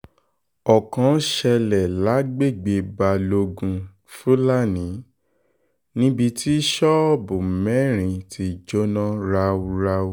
ọ̀kan ṣẹlẹ̀ lágbègbè balógun fúlàní níbi tí ṣọ́ọ̀bù mẹ́rin ti jóná ráúráú